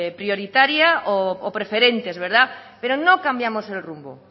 prioritaria o preferentes pero no cambiamos el rumbo